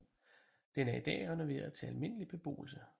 Den er i dag renoveret til almindelig beboelse